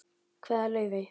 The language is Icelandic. Kveðja, Laufey.